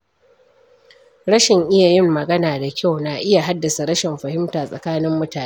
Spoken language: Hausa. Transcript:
Rashin iya yin magana da kyau na iya haddasa rashin fahimta tsakanin mutane.